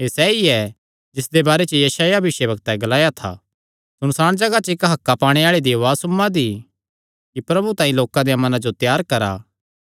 एह़ सैई ऐ जिसदे बारे च यशायाह भविष्यवक्तैं ग्लाया था सुनसाण जगाह च इक्क हक्कां पाणे आल़े दी उआज़ सुम्मां दी कि प्रभु तांई लोकां देयां मनां जो त्यार करा